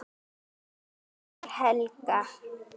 Þannig var Helga.